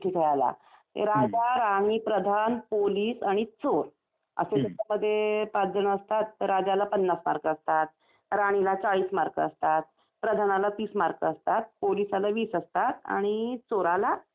राजा राणी प्रधान पोलीस आणि चोर असे त्याच्यामध्ये पाच जण असतात राजाला पन्नास मार्क असतात, राणीला 40 मार्क असतात, प्रधानाला 30 मार्क असतात, पोलिसाला वीस असतात आणि चोराला दहा असतात.